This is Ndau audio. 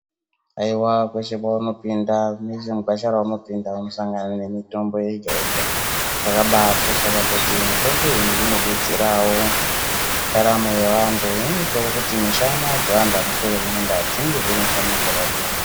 Aiwa kwese kwaunopinda mese mugwasha raunopinda unosangana nemitombo yega-yega zvakabakoshera kuti mitombo iyi inobetserawo mundaramo yevantu zvinoitawo kuti mishana dzevantu vanoswere kumunda dzinge dziri mishana dzakagwinya.